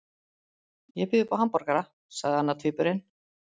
Ég býð upp á hamborgara, sagði annar tvíburinn.